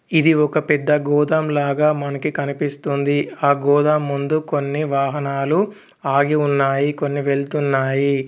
ఇది ఒక పెద్ద గోతం లాగా మనకి కనిపిస్తుంది ఆ గోదాం ముందు కొన్ని వాహనాలు ఆగి ఉన్నాయి కొన్ని వెళ్తున్నాయి.